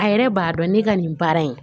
A yɛrɛ b'a dɔn ne ka nin baara in